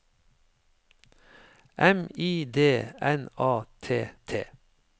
M I D N A T T